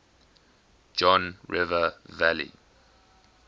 john river valley